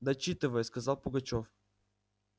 дочитывай сказал пугачёв